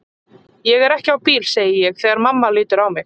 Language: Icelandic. Ég er ekki á bíl, segi ég þegar mamma lítur á mig.